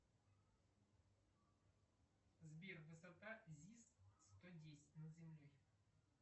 сбер высота зис сто десять над землей